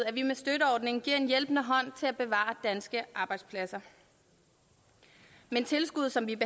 at vi med støtteordningen giver en hjælpende hånd til at bevare danske arbejdspladser men tilskuddet som vi